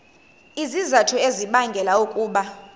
izizathu ezibangela ukuba